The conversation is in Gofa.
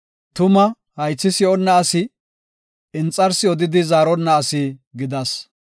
Tuma haythi si7onna asi, inxarsi odidi zaaronna asi gidas.